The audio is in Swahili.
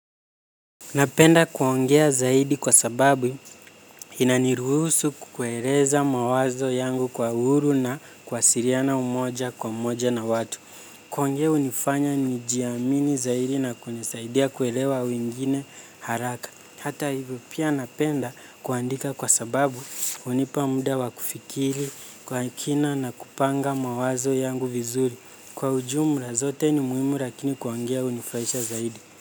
Napenda kuongea zaidi kwa sababu inaniruhusu kukueleza mawazo yangu kwa uhuru na kwasiliana moja kwa moja na watu. Kuongea unifanya nijiamini zaidi na kunisaidia kuelewa wengine haraka. Hata hivyo pia napenda kuandika kwa sababu unipa muda wa kufikiri kwa kina na kupanga mawazo yangu vizuri. Kwa ujumla zote ni muhimu lakini kuongea unifurahisha zaidi.